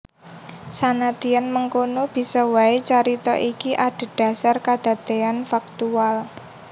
Sanadyan mengkono bisa waé carita iki adhedhasar kadadéyan faktual